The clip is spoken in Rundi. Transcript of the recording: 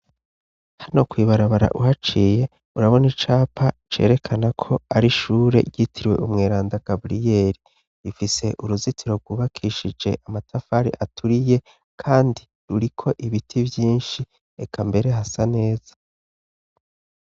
Hano kwibarabara uhaciye urabona icapa cerekana ko ari ishure yitiriwe umweranda gabriyeli rifise uruzitiro rwubakishije amatafari aturiye, kandi ruriko ibiti vyinshi eka mbere hasa neza.